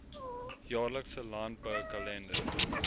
jaarlikse landbou kalender